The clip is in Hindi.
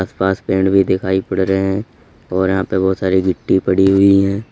आस पास पेड़ भी दिखाई पड़ रहे हैं और यहाँ पर बहुत सारी मिट्टी पड़ी हुई है।